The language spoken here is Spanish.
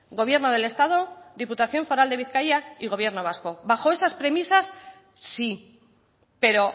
gobierno del estado diputación foral de bizkaia y gobierno vasco bajo esas premisas sí pero